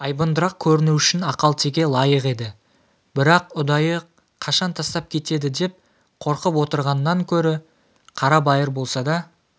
айбындырақ көріну үшін ақалтеке лайық еді бірақ ұдайы қашан тастап кетеді деп қорқып отырғаннан гөрі қарабайыр болса да